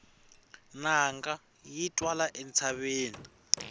nanga yi twala entshaveni